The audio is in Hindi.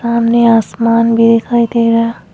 सामने आसमान भी दिखाई दे रहा।